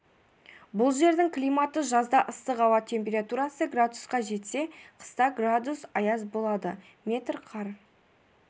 бұл жердің климаты жазда ыстық ауа температурасы градусқа жетсе қыста градус аяз болады метр қар